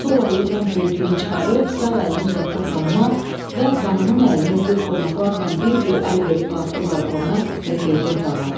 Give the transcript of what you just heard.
Sol əli ilə börkünü çıxarıb, sağ əlini uzatdı xanıma və xanımın əlini öpüb qonaqlarla bir-bir əl verib qalxdı balkona və girdi otağa.